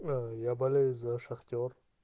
я болею за шахтёр